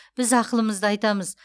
біз ақылымызды айтамыз